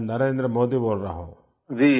मैं नरेन्द्र मोदी बोल रहा हूँ